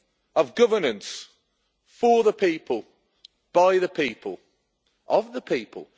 of governance for the people, by the people, of the people.